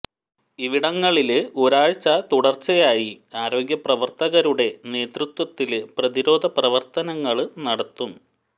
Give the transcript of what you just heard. ഇവിടങ്ങളില് ഒരാഴ്ച തുടര്ച്ചയായി ആരോഗ്യ പ്രവര്ത്തകരുടെ നേതൃത്വത്തില് പ്രതിരോധ പ്രവര്ത്തനങ്ങള് നടത്തും